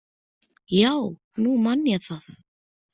Já, nú man ég það.